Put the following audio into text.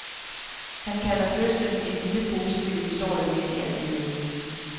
Han kalder fødslen en lille, positiv historie midt i al ulykken.